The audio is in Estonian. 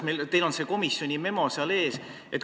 Teil on see komisjoni memo ees.